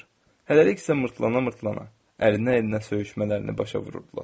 Hələliksə mırtdana-mırtdana əlindən əlinə söyüşmələrini başa vururdular.